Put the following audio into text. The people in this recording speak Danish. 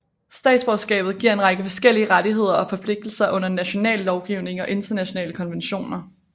Statsborgerskabet giver en række forskellige rettigheder og forpligtelser under national lovgivning og internationale konventioner